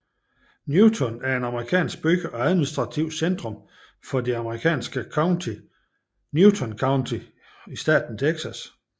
Newton er en amerikansk by og administrativt centrum for det amerikanske county Newton County i staten Texas